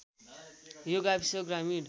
यो गाविस ग्रामीण